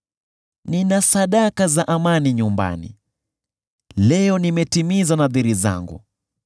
“Nina sadaka za amani nyumbani; leo nimetimiza nadhiri zangu.